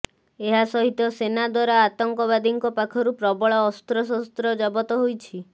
ଏହା ସହିତ ସେନା ଦ୍ୱାରା ଆତଙ୍କବାଦୀଙ୍କ ପାଖରୁ ପ୍ରବଳ ଅସ୍ତ୍ରଶସ୍ତ୍ର ଜବତ ହୋଇଛି